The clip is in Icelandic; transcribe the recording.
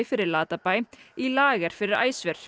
fyrir Latabæ í lager fyrir